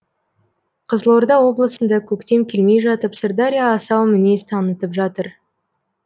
қызылорда облысында көктем келмей жатып сырдария асау мінез танытып жатыр